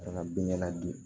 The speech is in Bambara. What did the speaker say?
An ka bin ɲɛna di